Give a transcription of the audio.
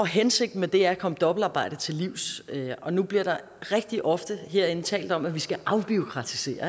hensigten med det er at komme dobbeltarbejde til livs nu bliver der rigtig ofte herinde talt om at vi skal afbureaukratisere